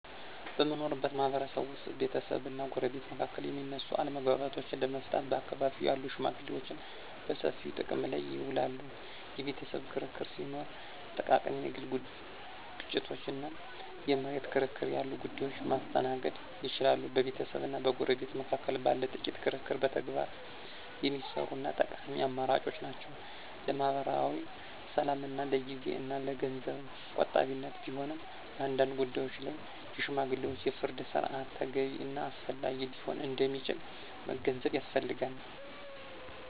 በምንኖርበት ማህበረሰብ ውስጥ ቤተሰብና ጎረቤት መካከል የሚነሱ አለመግባባቶችን ለመፍታት በአካባቢው ያሉ ሽመግሌዎችን በሰፊው ጥቅም ላይ ይውላሉ። የቤተሰብ ክርክር ሲኖር፣ ጥቃቅን የግል ግጭቶች እና የመሬት ክርክር ያሉ ጉዳዮችን ማስተናገድ ይችላሉ። በቤተሰብና በጎረቤት መካከል ባለ ጥቂት ክርክር በተግባር የሚሰሩ እና ጠቃሚ አማራጮች ናቸው። ለማኅበራዊ ሰላምና ለጊዜ እና ለገንዘብ ቆጣቢነት ቢሆንም፣ በአንዳንድ ጉዳዮች ላይ የሽማግሌዎች የፍርድ ሥርዓት ተገቢ እና አስፈላጊ ሊሆን እንደሚችል መገንዘብ ያስፈልጋል።